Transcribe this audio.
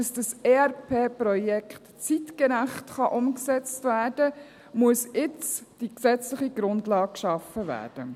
Damit dieses ERP-System zeitgerecht umgesetzt werden kann, muss jetzt die gesetzliche Grundlage geschaffen werden.